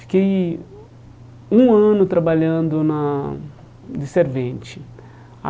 Fiquei um ano trabalhando na de servente.